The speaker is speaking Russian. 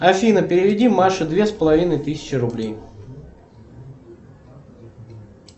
афина переведи маше две с половиной тысячи рублей